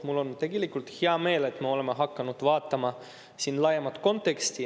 Mul on tegelikult hea meel, et me oleme hakanud vaatama siin laiemat konteksti.